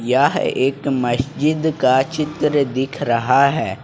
यह एक मस्जिद का चित्र दिख रहा है।